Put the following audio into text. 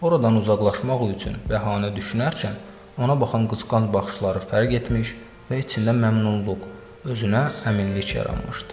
Oradan uzaqlaşmaq üçün bəhanə düşünərkən ona baxan qısqanc baxışları fərq etmiş və içində məmnunluq, özünə əminlik yaranmışdı.